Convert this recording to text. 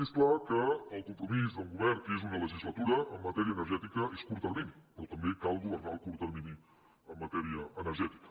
és clar que el compromís d’un govern que és una legislatura en matèria energètica és curt termini però també cal governar el curt termini en matèria energètica